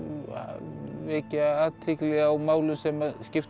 vekja athygli á málum sem skipta